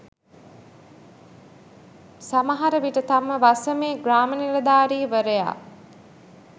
සමහර විට තම වසමේ ග්‍රාම නිලධාරීවරයා